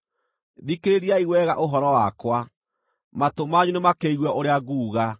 Thikĩrĩriai wega ũhoro wakwa; matũ manyu nĩmakĩigue ũrĩa nguuga.